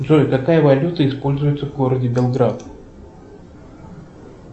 джой какая валюта используется в городе белград